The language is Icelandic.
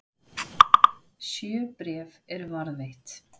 Sjö bréf eru varðveitt.